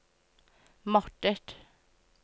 måttet